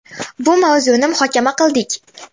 Bu mavzuni muhokama qildik.